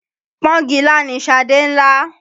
Pọ́ngilá ni Ṣadé ń là.